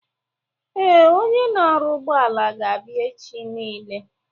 Ee, Onye na-arụ ụgbọala ga-abịa echi nile